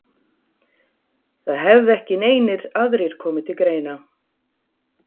Það hefði ekki neinir aðrir komið til greina?